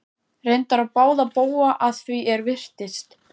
Reyndar á báða bóga að því er virtist.